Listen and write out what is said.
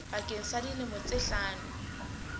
bakeng sa dilemo tse hlano